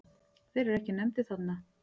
Þeir eru ekki nefndir þarna.